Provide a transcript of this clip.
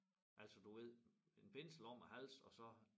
Altså du ved en bindsel om æ hals og så